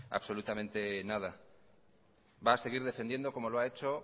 absolutamente nada va a seguir defendiendo como lo ha hecho